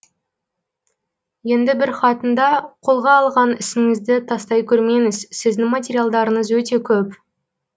енді бір хатында қолға алған ісіңізді тастай көрмеңіз сіздің материалдарыңыз өте көп